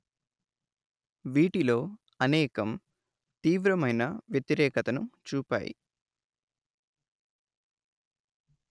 వీటిలో అనేకం తీవ్రమైన వ్యతిరేకతను చూపాయి